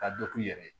Ka dɔ k'u yɛrɛ ye